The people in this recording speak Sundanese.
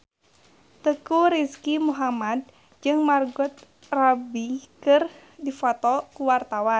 Teuku Rizky Muhammad jeung Margot Robbie keur dipoto ku wartawan